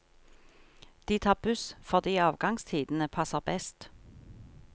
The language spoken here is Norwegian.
De tar buss fordi avgangstidene passer best.